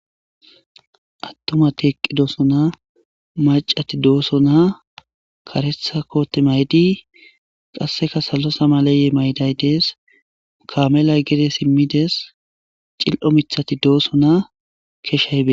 Attumati eqqidoosona macati doosona karetha kote maydi qasseka salosa maleye mayday dees kamelay gede simmides cil'o mithati doosona .